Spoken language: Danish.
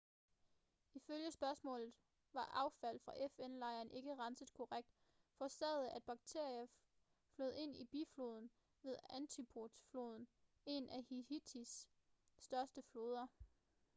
ifølge søgsmålet var affald fra fn-lejren ikke renset korrekt hvilket forårsagede at bakterier flød ind i bifloden til artibonite-floden en af haiti's største floder